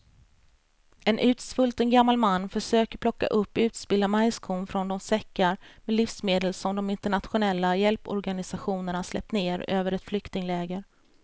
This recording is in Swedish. En utsvulten gammal man försöker plocka upp utspillda majskorn från de säckar med livsmedel som de internationella hjälporganisationerna släppt ner över ett flyktingläger.